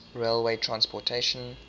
railway transportation